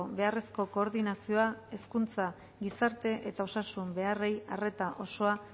beharrezko koordinazioa hezkuntza gizarte eta osasun beharrei arreta osoa